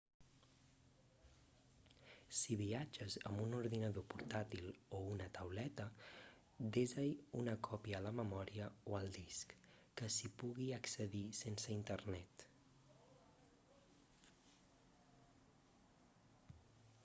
si viatges amb un ordinador portàil o una tauleta desa-hi una còpia a la memòria o al disc que s'hi pugui accedir sense internet